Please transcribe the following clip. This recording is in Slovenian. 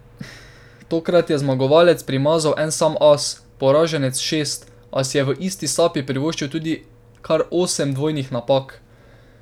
Tokrat je zmagovalec primazal en sam as, poraženec šest, a si je v isti sapi privoščil tudi kar osem dvojnih napak.